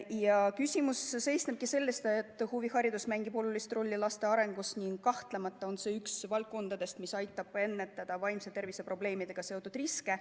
Ja küsimus seisnebki selles, et huviharidus mängib olulist rolli laste arengus ning kahtlemata on see üks valdkondadest, mis aitab ennetada vaimse tervise probleemidega seotud riske.